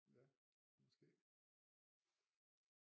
Ja måske